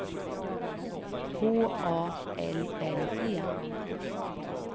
H A L L E